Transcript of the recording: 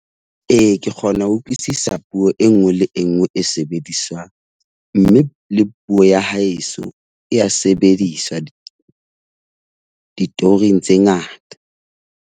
Ee, ke kgona ho utlwisisa puo e nngwe le e nngwe e sebediswang, mme le puo ya haeso e ya sebediswa di ditoring tse ngata.